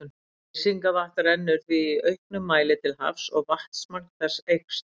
Leysingavatn rennur því í auknum mæli til hafs og vatnsmagn þess eykst.